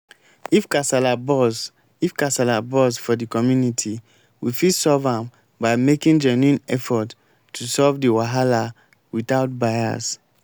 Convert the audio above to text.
if kasala burst if kasala burst for di community we fit solve am by making genuine effort to solve di wahala without bias